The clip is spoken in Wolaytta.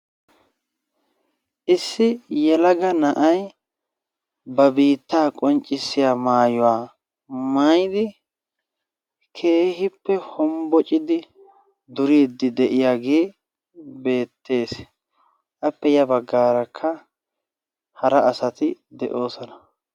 issi yelaga na'ayi ba biitta qonccissiyaa maayuwaa maayidi keeehippe hombbocidi duriiddi de"iyaagee beettees. appe ya baggaarakka hara asati de'oosona.